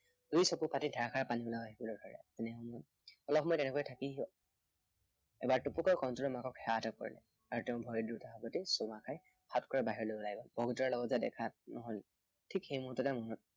এই চকুফাটি ধাৰাসাৰ পানী ওলাই আহিবলৈ ধৰে। অলপ সময় তেনেকৈ থাকি সি এবাৰ টুপুককৈ কণটিলৌৰ মাকক সেৱা এটা কৰে। আৰু তেওঁক ভৰি দুটা সাৱটি চুমা খাই সাউতকৈ বাহিৰলৈ ওলাই আহিল। বগীতৰাৰ লগত তাৰ দেখা নহল। ঠিক সেই মুহুৰ্ততে